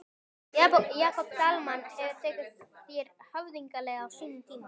Jakob Dalmann hefur tekið þér höfðinglega á sínum tíma?